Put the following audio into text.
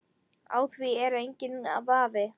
Á því er enginn vafi.